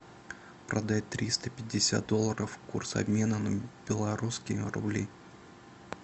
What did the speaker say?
продать триста пятьдесят долларов курс обмена на белорусские рубли